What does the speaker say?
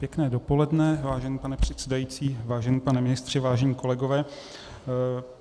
Pěkné dopoledne, vážený pane předsedající, vážený pane ministře, vážení kolegové.